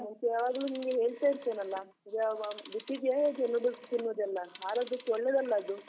ಮುಂಚೆ ಯಾವಾಗ್ಲೂ ನಿಂಗೆ ಹೇಳ್ತಾ ಇರ್ತೇನೆ ಅಲ್ಲಾ, ಯಾವಾಗ ಬಿಟ್ಟಿದ್ಯ ಹೇಗೆ noodles ತಿನ್ನುವುದೆಲ್ಲ? ಆರೋಗ್ಯಕ್ಕೆ ಒಳ್ಳೆದಲ್ಲ ಅದು.